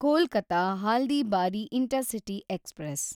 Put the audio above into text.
Kolkata Haldibari intercity express